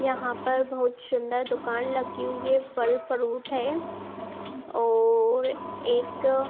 यहाँ पर बहुत शुन्दर दुकान लगी हुई है फल फ्रूट है और एक --